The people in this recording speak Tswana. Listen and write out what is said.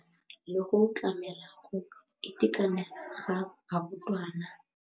Ya nakwana le go tlamela go itekanela ga barutwana.